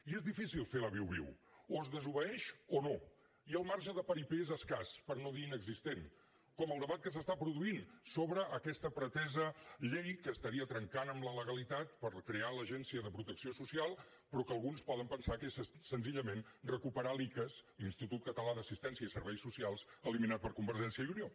i és difícil fer la viuviu o es desobeeix o no i el marge de paripé és escàs per no dir inexistent com el debat que s’està produint sobre aquesta pretesa llei que estaria trencant amb la legalitat per crear l’agència de protecció social però que alguns poden pensar que és senzillament recuperar l’icass l’institut català d’assistència i serveis socials eliminat per convergència i unió